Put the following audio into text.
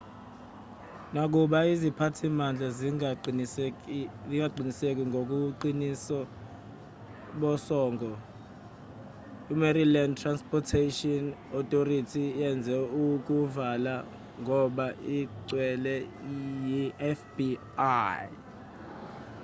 nakuba iziphathimandla zingaqiniseki ngobuqiniso bosongo imaryland transportation authority yenze ukuvala ngoba icelwe yifbi